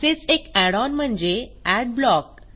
असेच एक add on म्हणजे एडब्लॉक